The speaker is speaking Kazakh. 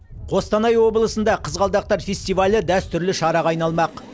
қостанай облысында қызғалдақтар фестивалі дәстүрлі шараға айналмақ